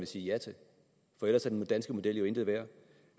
sige ja til for ellers er den danske model jo intet værd